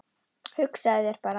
Hugsaðu þér bara.